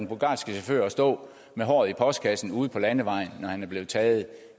bulgarske chauffør at stå med håret i postkassen ude på landevejen når han er blevet taget